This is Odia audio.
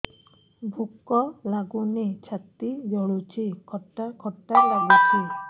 ଭୁକ ଲାଗୁନି ଛାତି ଜଳୁଛି ଖଟା ଖଟା ଲାଗୁଛି